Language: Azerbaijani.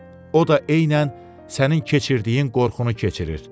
o da eynən sənin keçirdiyin qorxunu keçirir.